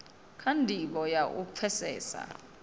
kha ndivho na u pfesesa